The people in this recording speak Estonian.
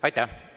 Aitäh!